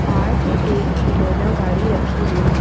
साथ ही एक खिलौना गाड़ी रखी हुई है।